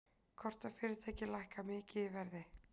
Kortafyrirtæki lækka mikið í verði